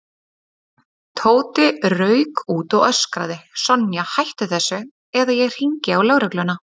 Tóti rauk út og öskraði: Sonja, hættu þessu eða ég hringi á lögregluna